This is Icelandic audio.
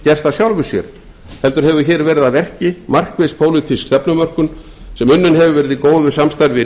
af sjálfu sér heldur hefur hér verið að verki markviss pólitísk stefnumörkun sem unnin hefur verið í góðu samstarfi